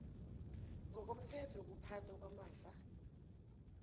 ngokomthetho wokuphathwa kwamafa